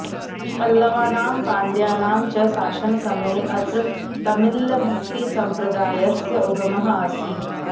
पल्लवानां पाण्ड्यानां च शासनसमये अत्र तमिऴ् भक्तिसम्प्रदायस्य उगमः आसीत्